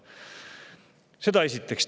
Seda esiteks.